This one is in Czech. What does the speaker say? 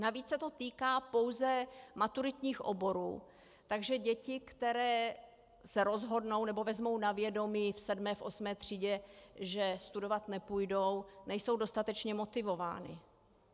Navíc se to týká pouze maturitních oborů, takže děti, které se rozhodnou nebo vezmou na vědomí v sedmé osmé třídě, že studovat nepůjdou, nejsou dostatečně motivovány.